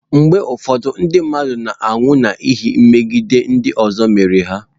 Mgbe ụfọdụ ndị mmadụ na-anwụ n'ihi megide ndị ọzọ mere ha.